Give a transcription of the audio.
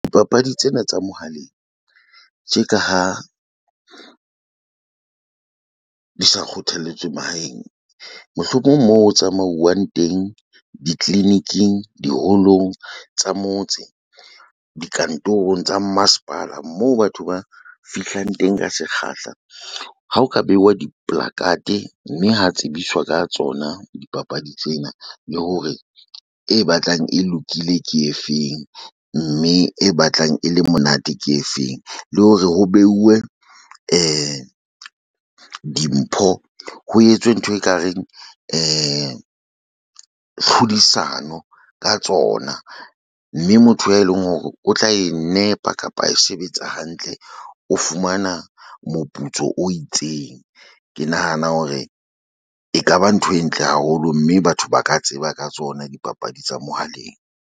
Dipapadi tsena tsa mohaleng tje ka ha di sa kgothaletswe mahaeng. Mohlomong moo o tsamauwang teng, di-clinic-ing, diholong tsa motse, dikantorong tsa masepala moo batho ba fihlang teng ka sekgahla. Ha o ka beuwa diplacard, mme ha tsebiswa ka tsona dipapadi tsena le hore e batlang e lokile, ke efeng mme e batlang e le monate, ke efeng le hore ho beuwe dimpho. Ho etswe ntho e kareng tlhodisano ka tsona. Mme motho e leng hore o tla e nepa kapa a e sebetsa hantle, o fumana moputso o itseng. Ke nahana hore ekaba ntho e ntle haholo mme batho ba ka tseba ka tsona dipapadi tsa mohaleng.